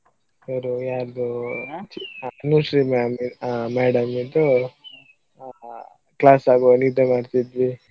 ಅವರು ಯಾರ್ದೊ ಅನುಶ್ರೀ ma'am ಆ madam ಇದ್ದು class ಆಗುವಾಗ ನಿದ್ದೆ ಮಾಡ್ತಿದ್ವಿ.